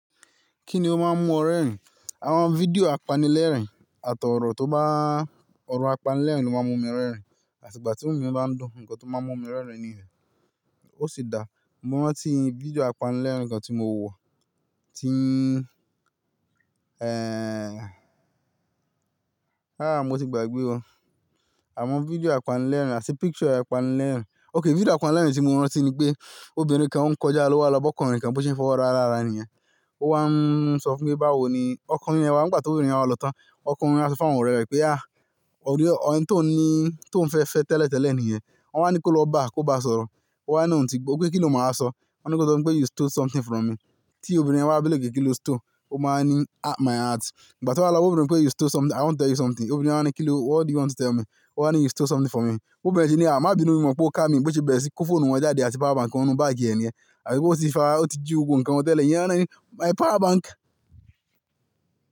Kí ni ó máa ń mú ọ rẹ́rìn? Àwọn fídíò apanilẹ́rìn àtọ̀ ọ̀rọ̀ tó bá, ọ̀rọ̀ apanilẹ́rìn ló máa ń mú mi rẹ́rìn. Àti ìgbà tí inú mi bá ń dùn, nǹkan tó máa ń mú mi rẹ́rìn nìyẹn. Ó sì dáa, mo rántí fídíò apanilẹ́rìn nǹkan tí mo wọ̀, tí, Ehn, aáà mo ti gbàgbé o. Àwọn fídíò apanilẹ́rìn àti picture apanilẹ́rìn. Okay, fídíò apanilẹ́rìn tí mo rántí ni pé obìnrin kan ó ń kọjá lọ́wọ́ lọ bọ́ ọkùnrin kan bó ṣe gi ọwọ́ ra lára rẹ̀ nìyẹn. Ó wá ń sọ fún pé báwo ni, ọkùnrin rẹ wá, ìgbà tí obìnrin wa lọ tán, ọkùnrin wá sọ fún àwọn ọ̀rẹ́ rẹ̀ pé "à, ẹni tí ohùn ní ohùn fẹ́ fẹ́ tẹ́lẹ̀ tẹ́lẹ̀ nìyẹn." Wọ́n wá ní kó lọ bá a, kó bá a sọ̀rọ̀. Ó wá ní, ò ń ti gbó pé kí ló máa sọ. Wọ́n ní kó sọ fún pé "you stole something from me." Tí obìnrin yẹn bá wá bí léèrè kí ló stole. Ó máa ń ní "my heart." Ìgbà tí wọ́n bá lọ, obìnrin pé "you stole something, I want to tell you something." Obìnrin wá ní kí ló, what do you want to tell me? Ó wá ní "you stole something from me." Obìnrin ní "à, má bínu mi o mọ̀ pé o ká mi." Bó ṣe bẹ̀rẹ̀ sí í kó fóònù wọn jáde, àti power bank wọnú báàgì ẹ̀ nìyẹn. Àbí bó ti fa, ó ti jí gbogbo nǹkan wọn tẹ́lẹ̀. Ìyẹn wá ní "my power bank."